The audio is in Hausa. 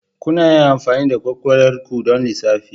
Kuna iya amfani da kwakwalwar ku don lissafi.